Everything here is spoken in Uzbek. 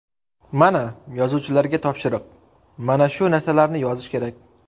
Mana, yozuvchilarga topshiriq, mana shu narsalarni yozish kerak.